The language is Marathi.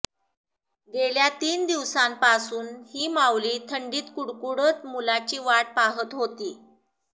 गेल्या तीन दिवसांपासून ही माऊली थंडीत कुडकुडत मुलाची वाट पाहत होती